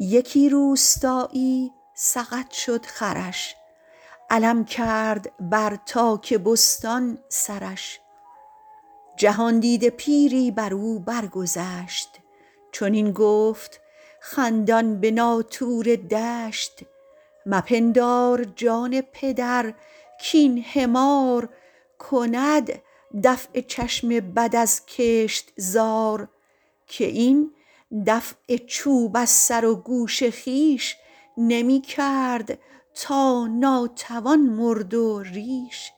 یکی روستایی سقط شد خرش علم کرد بر تاک بستان سرش جهاندیده پیری بر او بر گذشت چنین گفت خندان به ناطور دشت مپندار جان پدر کاین حمار کند دفع چشم بد از کشتزار که این دفع چوب از سر و گوش خویش نمی کرد تا ناتوان مرد و ریش